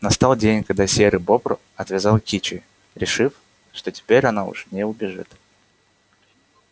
настал день когда серый бобр отвязал кичи решив что теперь она уж не убежит